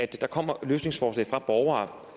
der kommer løsningsforslag fra borgere